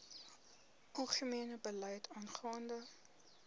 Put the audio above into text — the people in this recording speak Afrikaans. algemene beleid aangaande